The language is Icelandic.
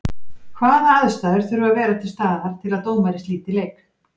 Hvaða aðstæður þurfa að vera til staðar til að dómari slíti leik?